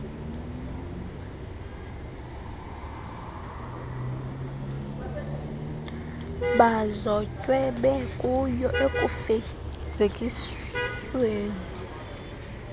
bazotywe bekuyo ekufezekiseni